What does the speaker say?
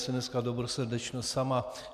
Jsem dneska dobrosrdečnost sama.